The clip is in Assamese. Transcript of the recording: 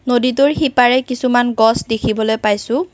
নদীটোৰ সিপাৰে কিছুমান গছ দেখিবলৈ পাইছোঁ।